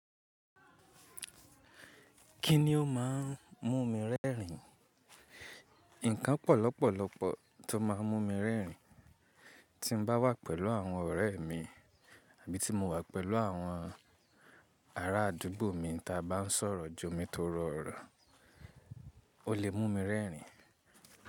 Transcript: Kí ni ó máa ń mú mi rẹ́rìn-ín? Ǹkan pò lọ̀pọ̀lọ̀pọ̀ tó máa ń mú mi rẹ́rìn-ín. Tí mo bá wà pẹ̀lú àwọn ọ̀rẹ́ mi àbí tí mo wà pẹ̀lú àwọn ará àdúgbò mi tí a bá ń sọ̀rọ̀ ju mi tóro oro, ó lè mú mi rẹ́rìn-ín.